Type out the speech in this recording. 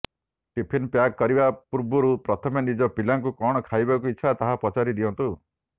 tiffin pack କରିବା ପର୍ବରୁ ପ୍ରଥମେ ନିଜ ପିଲାଙ୍କୁ କଣ ଖାଇବାକୁ ଇଚ୍ଛା ତାହା ପଚାରି ଦିଅନ୍ତୁ